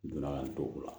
Donna ka n to o la